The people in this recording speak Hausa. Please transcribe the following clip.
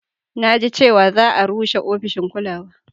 Na ji cewa za a rushe ofishin ƙulawa